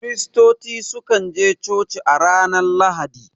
Kiristoci su kan je coci a ranar Lahadi